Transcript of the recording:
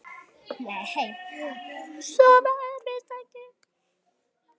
Nei, svo er víst ekki.